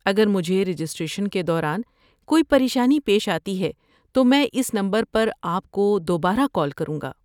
اگر مجھے رجسٹریشن کے دوران کوئی پریشانی پیش آتی ہے تو میں اس نمبر پر آپ کو دوبارہ کال کروں گا۔